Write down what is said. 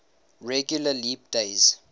regular leap days